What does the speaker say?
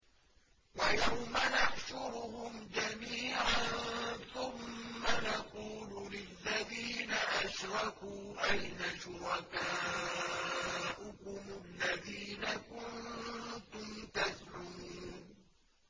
وَيَوْمَ نَحْشُرُهُمْ جَمِيعًا ثُمَّ نَقُولُ لِلَّذِينَ أَشْرَكُوا أَيْنَ شُرَكَاؤُكُمُ الَّذِينَ كُنتُمْ تَزْعُمُونَ